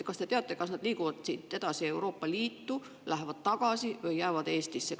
Kas te teate, kas nad liiguvad siit edasi Euroopa Liitu, lähevad tagasi või jäävad Eestisse?